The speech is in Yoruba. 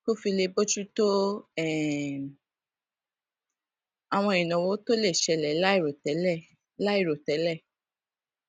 kó lè fi bójú tó um àwọn ìnáwó tó lè ṣẹlè láìròtélè láìròtélè